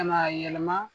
Ka n'a yɛlɛma